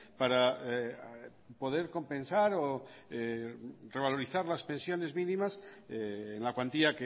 para poder compensar o revalorizar las pensiones mínimas en la cuantía